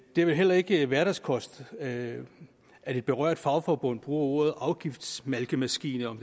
det er vel heller ikke hverdagskost at at et berørt fagforbund bruger ordet afgiftsmalkemaskine om